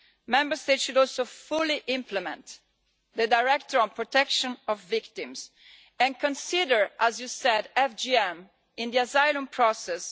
Member States should also fully implement the Directive on protection of victims and consider, as you said, FGM in the asylum process.